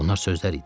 Bunlar sözlər idi.